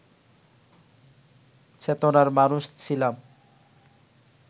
চেতনার মানুষ ছিলাম